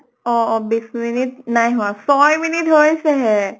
অহ অহ বিছ মিনিট নাই হোৱা। ছয় মিনিট হৈছে হে।